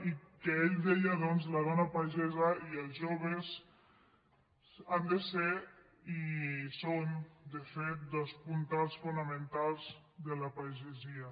i que ell deia doncs que la dona pagesa i els joves han de ser i són de fet dos puntals fonamentals de la pagesia